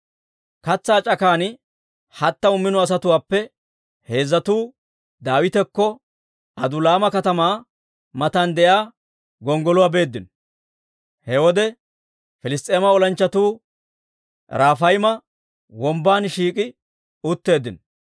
Katsaa c'akan hattamu mino asatuwaappe heezzatuu Daawitakko Adulaama katamaa matan de'iyaa gonggoluwaa beeddino. He wode Piliss's'eema olanchchatuu Rafayma Wombban shiik'i utteeddino.